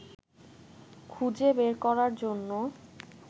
খুঁজে বের করার জন্য